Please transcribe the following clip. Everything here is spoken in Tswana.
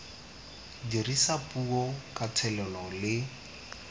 dirisa puo ka thelelo le